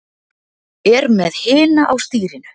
Er með hina á stýrinu.